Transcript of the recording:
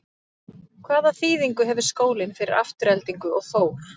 Hvaða þýðingu hefur skólinn fyrir Aftureldingu og Þór?